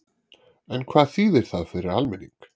En hvað þýðir það fyrir almenning?